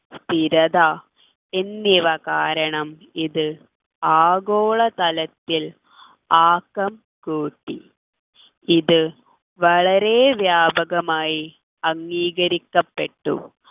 സ്ഥിരത എന്നിവ കാരണം ഇത് ആഗോളതരത്തിൽ ആക്കം കൂട്ടി ഇത് വളരെയധികം വ്യാപകമായി അംഗീകരിക്കപ്പെട്ടു